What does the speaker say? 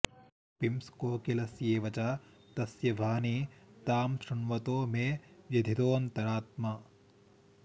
पिंस्कोकिलस्येव च तस्य वाणि तां शृण्वतो मे व्यथितोऽन्तरात्मा